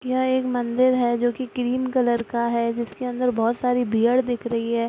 यह एक मंदिर हैं जो की ग्रीन कलर का है जिसके अंदर बहुत सारी भीड़ दिख रही हैं।